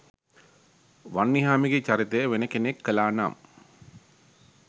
වන්නිහාමිගෙ චරිතය වෙන කෙනෙක් කළානං